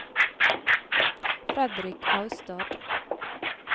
Fredrik Austad